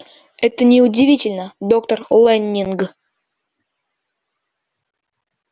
это не удивительно доктор лэннинг